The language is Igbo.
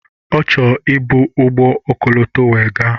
Ọ chọrọ ị bu ụgbọ ọkọlọtọ wee gaa.